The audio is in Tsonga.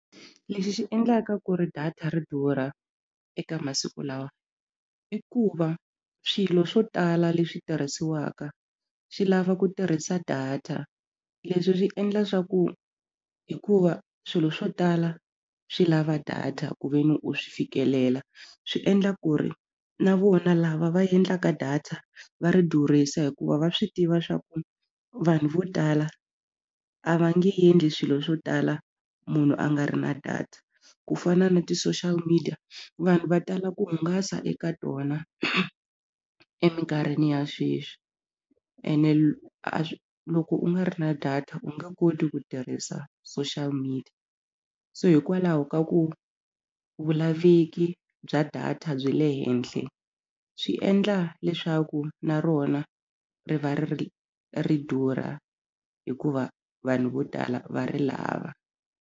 Lexi xi endlaka ku ri data ri durha eka masiku lawa i ku va swilo swo tala leswi tirhisiwaka swi lava ku tirhisa data leswi swi endla swa ku hikuva swilo swo tala swi lava data ku ve ni u swi fikelela swi endla ku ri na vona lava va endlaka data va ri durhisa hikuva va swi tiva swa ku vanhu vo tala a va nge endli swilo swo tala munhu a nga ri na data ku fana na ti-social media vanhu va tala ku hungasa eka tona eminkarhini ya sweswi ene loko u nga ri na data u nge koti ku tirhisa social media so hikwalaho ka ku vulaveki bya data byi le henhla swi endla leswaku na rona ri va ri durha hikuva vanhu vo tala va ri lava.